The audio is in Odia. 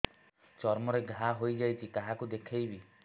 ଚର୍ମ ରେ ଘା ହୋଇଯାଇଛି କାହାକୁ ଦେଖେଇବି